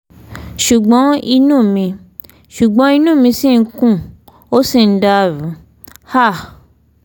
ṣùgbọ́n inú mi ṣùgbọ́n inú mi ṣì ń kùn ó sì ń dàrú um